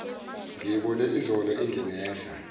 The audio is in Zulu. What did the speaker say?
ngiyibone izolo inginesa